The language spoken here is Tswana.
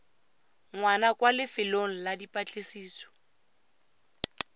ngwana kwa lefelong la dipatlisiso